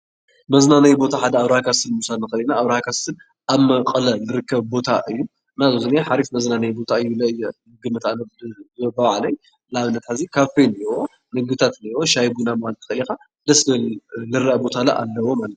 መዝናነይ ቦታ ሓደ ኣብርሃ ካስትል ኮይኑ ኣብርሃ ካስትል ኣብ መቀለ ዝርከብ ቦታ እዩ፡፡ ሓሪፍ መዝናነይ ቦታ እዩ፡፡ ንኣብነት ኣነ ንባዕለይ ኣብኡ ከይደ ምግብታት ሻሂ ቡና ንክትብል ትክእል ኢካ፡፡ ደስ ዝብል ዝረአ ቦታ እውን ኣለዎ ማለት እዩ፡፡